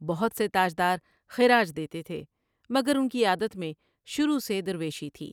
بہت سے تاج دار خراج دیتے تھے مگر ان کی عادت میں شروع سے درویشی تھی ۔